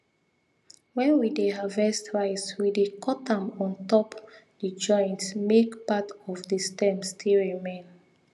when we dey harvest rice we dey cut am on top the joint make part of the stem still remain